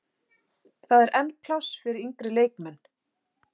Það er enn pláss fyrir yngri leikmenn.